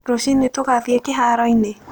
Rũcinĩ tũgathiĩ kĩhaaro-inĩ?